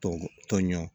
Tɔn tɔnɲɔn